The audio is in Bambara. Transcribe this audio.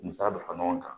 Musa bɛ fara ɲɔgɔn kan